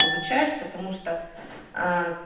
получаешь потому что а